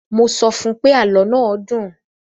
Mo sọ fún pé, àlọ́ náà dùn.